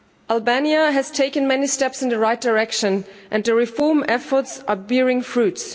Albania has taken many steps in the right direction and the reform efforts are bearing fruits.